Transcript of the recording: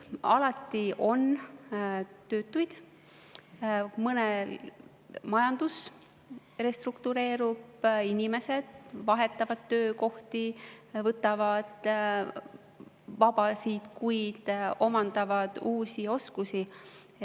Alati on töötuid, majandus restruktureerub, inimesed vahetavad töökohti, võtavad vabasid kuid, omandavad uusi oskusi.